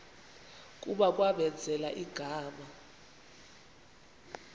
kuba kwamenzela igama